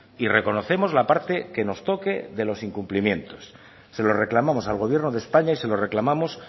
y reconocemos la parte que nos toque de los incumplimientos se lo reclamamos al gobierno de españa y se lo reclamamos